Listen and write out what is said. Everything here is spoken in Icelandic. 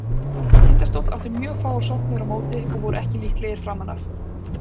Tindastóll átti mjög fáar sóknir á móti og voru ekki líklegir framan af.